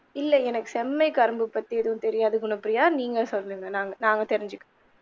இல்ல எனக்கு செம்மை கரும்பு பத்தி ஏதும் தெரியாது போல பிரியா நீங்க சொல்லுங்க நாங்க தெரிஞ்சிக்கிறோம்.